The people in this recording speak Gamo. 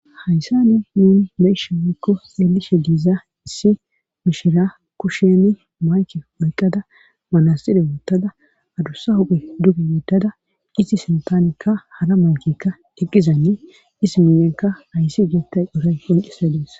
hayssani nuun be7ishe mekko eelishe diiza issi mishira kusheni maake maqada manassire wottada adussa huphe duge woddada isi sintanekka hala mankekka diqqizanne is minenka hayssi geettay dhuray qoncise dees